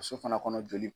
Muso fana kɔnɔ joli